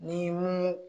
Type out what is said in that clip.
Ni mun